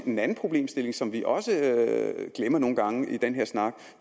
en anden problemstilling som vi også glemmer nogle gange i den her snak